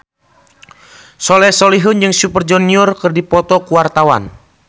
Soleh Solihun jeung Super Junior keur dipoto ku wartawan